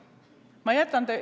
Aitäh!